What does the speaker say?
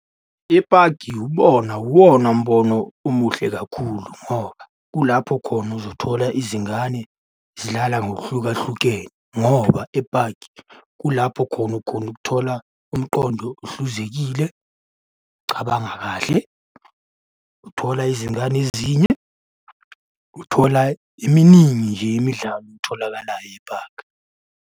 Epaki ibona wubona mbono omuhle kakhulu ngoba kulapho khona uzothola izingane zidlala ngokuhlukahlukene ngoba epaki kulapho khona ukhona ukuthola umqondo ohluzekile, ukucabanga kahle. Uthola izingane ezinye, uthola iminingi nje imidlalo etholakalayo epaki.